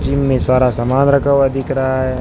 Gym में सारा सामान रखा हुआ दिख रहा है।